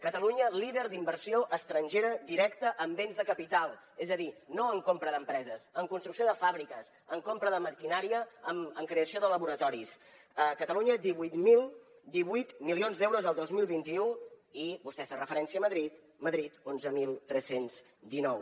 catalunya líder d’inversió estrangera directa en béns de capital és a dir no en compra d’empreses en construcció de fàbriques en compra de maquinària en creació de laboratoris catalunya divuit mil divuit milions d’euros el dos mil vint u i vostè ha referència a madrid madrid onze mil tres cents i dinou